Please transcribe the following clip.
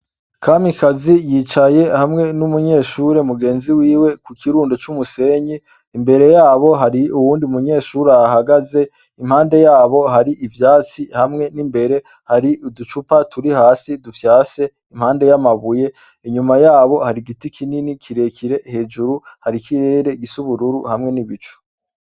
Kamikazi yicaye hamwe n'umunyeshure mugenzi wiwe ku kirundo c'umusenyi, imbere yabo hari uwundi munyeshure ahahagaze impande yabo hari ivyatsi hamwe n'imbere hari uducupa turi hasi dufyase, impande y'amabuye inyuma yabo hari igiti kinini kirekire, hejuru hari ikirere gisa ubururu hamwe n'ibicu.